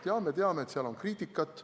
Jaa, me teame, et seal on kriitikat.